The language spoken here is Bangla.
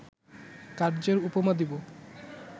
কার্য্যের উপমা দিব